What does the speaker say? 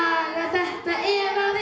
þetta ef